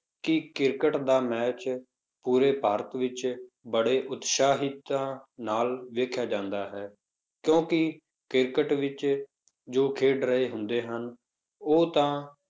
ਕਿ ਕ੍ਰਿਕਟ ਦਾ match ਪੂਰੇ ਭਾਰਤ ਵਿੱਚ ਬੜੇ ਉਤਸ਼ਾਹਿਤਾਂ ਨਾਲ ਵੇਖਿਆ ਜਾਂਦਾ ਹੈ, ਕਿਉਂਕਿ ਕ੍ਰਿਕਟ ਵਿੱਚ ਜੋ ਖੇਡ ਰਹੇ ਹੁੰਦੇ ਹਨ, ਉਹ ਤਾਂ